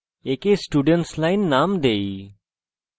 একে students line name দেই